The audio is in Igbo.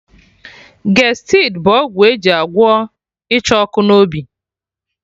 Gestid bụ ọgwụ eji agwọ Ịcha ọkụ n'obi